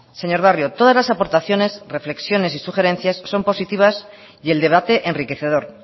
señor barrio todas las aportaciones reflexiones y sugerencias son positivas y el debate enriquecedor